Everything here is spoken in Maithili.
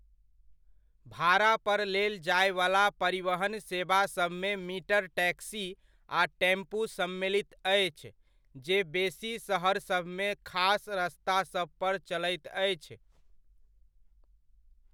भाड़ापर लेल जायवला परिवहन सेवासभमे मीटर टैक्सी आ टेम्पू सम्मिलित अछि, जे बेसी सहरसभमे खास रस्तासभ पर चलैत अछि।